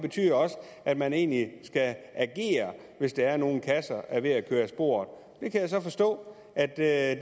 betyder også at man egentlig skal agere hvis der er nogle kasser der er ved at køre af sporet jeg kan så forstå at det er